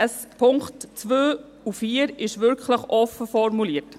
Die Punkte 2 und 4 sind wirklich offen formuliert.